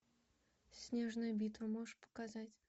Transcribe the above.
снежная битва можешь показать